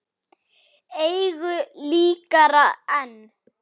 Engu líkara en